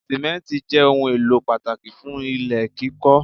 Simenti jẹ́ ohùn èlò pàtàkì fún ilé kíkọ